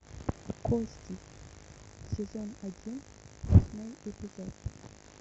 кости сезон один восьмой эпизод